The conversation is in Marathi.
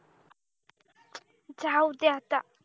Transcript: जाऊदे आता